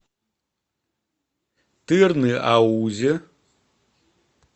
тырныаузе